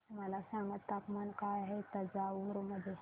मला सांगा तापमान काय आहे तंजावूर मध्ये